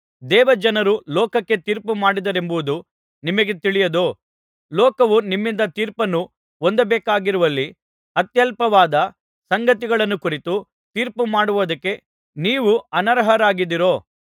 ದೇವಜನರು ಲೋಕಕ್ಕೆ ತೀರ್ಪುಮಾಡುವರೆಂಬುದು ನಿಮಗೆ ತಿಳಿಯದೋ ಲೋಕವು ನಿಮ್ಮಿಂದ ತೀರ್ಪನ್ನು ಹೊಂದಬೇಕಾಗಿರುವಲ್ಲಿ ಅತ್ಯಲ್ಪವಾದ ಸಂಗತಿಗಳನ್ನು ಕುರಿತು ತೀರ್ಪುಮಾಡುವುದಕ್ಕೆ ನೀವು ಅನರ್ಹರಾಗಿದ್ದೀರೋ